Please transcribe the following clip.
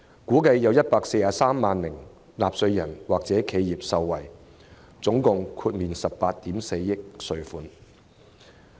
估計有143萬名納稅人或企業受惠，可額外節省合共18億 4,000 萬元稅款。